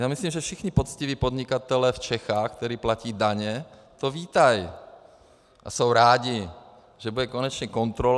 Já myslím, že všichni poctiví podnikatelé v Čechách, kteří platí daně, to vítají a jsou rádi, že bude konečně kontrola.